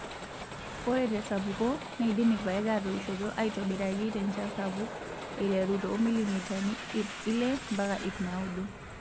Ore tesapuko neidim irpaek atoishioto aitobiraki tenchan sapuk aiteru too milimitani iip ile mpaka iip naudo.